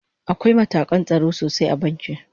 Akwai matakan tsaro sosai a banki